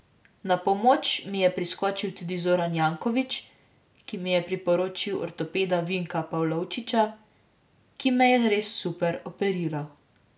Na pomoč mi je priskočil tudi Zoran Janković, ki mi je priporočil ortopeda Vinka Pavlovčiča, ki me je res super operiral.